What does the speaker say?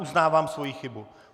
Uznávám svoji chybu.